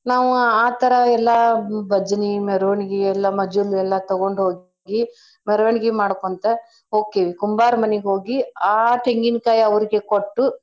ನಾವ ಆ ತರಾ ಎಲ್ಲಾ ಬಜನಿ ಮೆರವಣಿಗಿ ಎಲ್ಲಾ ಮಜಲು ಎಲ್ಲಾ ತೊಗೊಂಡ್ಹೋಗಿ ಮೆರವಣಿಗಿ ಮಾಡ್ಕೋಂತ ಹೋಕ್ಕೇವಿ ಕುಂಬಾರ ಮನಿಗ್ ಹೋಗಿ ಆ ತೆಂಗಿನ್ಕಾಯ್ ಅವ್ರ್ಗೆ ಕೊಟ್ಟು.